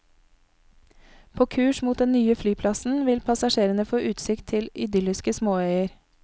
På kurs mot den nye flyplassen vil passasjerene få utsikt til idylliske småøyer.